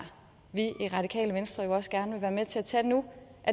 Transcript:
vi i radikale venstre også gerne vil være med til at tage nu